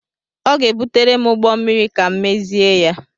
Ọ ga-ebutere m ụgbọ mmịrị ka m mezie ya.